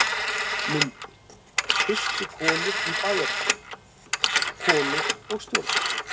Myndir: Fyrstu konur í bæjarstjórn: Konur og stjórnmál.